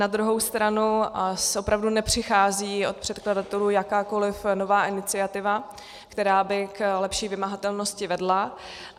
Na druhou stranu opravdu nepřichází od předkladatelů jakákoli nová iniciativa, která by k lepší vymahatelnosti vedla.